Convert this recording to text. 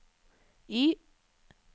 Y